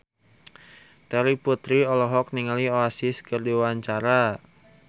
Terry Putri olohok ningali Oasis keur diwawancara